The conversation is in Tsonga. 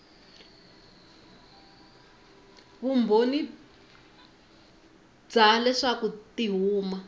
vumbhoni bya leswaku ti huma